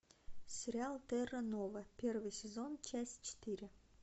сериал терра нова первый сезон часть четыре